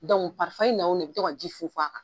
na wo na, i bi tɔ ka ji fun fun a kan.